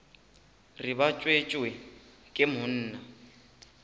re ba tswetšwe ke monna